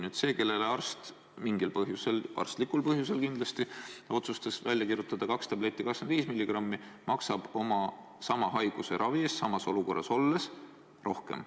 Nüüd see, kellele arst mingil põhjusel – arstlikul põhjusel kindlasti – otsustas välja kirjutada kaks tabletti 25 milligrammi, maksab sama haiguse ravi eest samas olukorras olles rohkem.